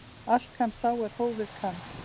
Allt kann sá er hófið kann.